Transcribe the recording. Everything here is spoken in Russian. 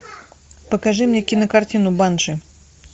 покажи мне кинокартину банши